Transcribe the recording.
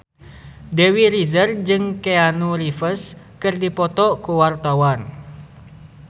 Dewi Rezer jeung Keanu Reeves keur dipoto ku wartawan